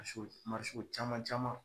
A so w caman caman